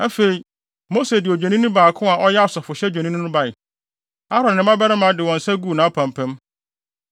Afei, Mose de odwennini baako a ɔyɛ asɔfohyɛ dwennini no bae. Aaron ne ne mmabarima de wɔn nsa guu nʼapampam.